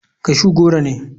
Cashew goro ne.